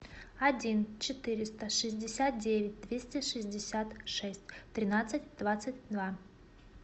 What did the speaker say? один четыреста шестьдесят девять двести шестьдесят шесть тринадцать двадцать два